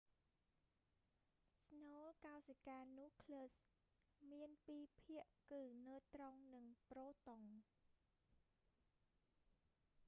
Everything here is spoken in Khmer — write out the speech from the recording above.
ស្នូលកោសិកា nucleus មានពីរភាគគឺណឺត្រុងនិងប្រូតុង